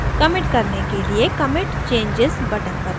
commit करने के लिए commit changes button पर click करें